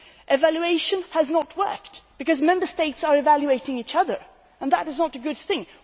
Evaluation has not worked, because Member States are evaluating each other and that is not a good thing.